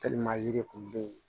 yiri kun bɛ yen